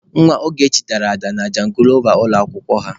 Nwa Ogechi dara ada na jangilova ụlọ akwụkwọ ha.